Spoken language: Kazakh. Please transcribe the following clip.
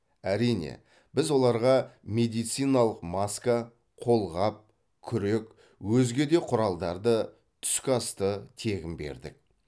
әрине біз оларға медициналық маска қолғап күрек өзге де құралдарды түскі асты тегін бердік